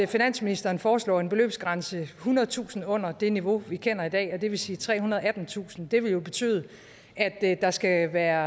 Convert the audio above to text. finansministeren foreslår en beløbsgrænse ethundredetusind kroner under det niveau vi kender i dag og det vil sige trehundrede og attentusind kroner det vil jo betyde at der skal være